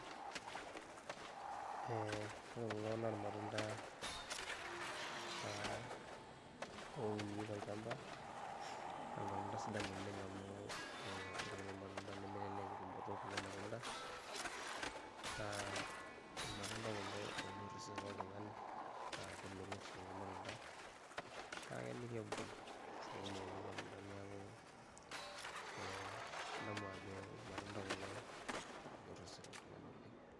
Ee ore kulo na irmatunda naa ouni tolchamba na irmatunda sidan ouni ore kulo matenda nemelelek tumoto ekulo matunda, naa irmatunda kulo onyor ososen loltungani amu kemelok oleng kulo matunda, kake kegol mbisai kumok ele matunda neaku kadamu ajo irmatunda kulo onyor osesen loltungani oleng.